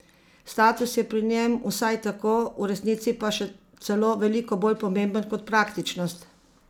Status je pri njem vsaj tako, v resnici pa še celo veliko bolj pomemben kot praktičnost!